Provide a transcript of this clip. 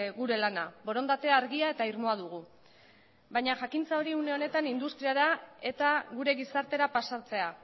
gure lana borondate argia eta irmoa dugu baina jakintza hori une honetan industriara eta gure gizartera pasatzea